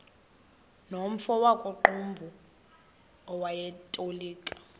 nomfo wakuqumbu owayetolika